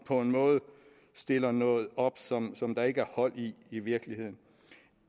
på en måde stiller noget op som som der ikke er hold i i virkeligheden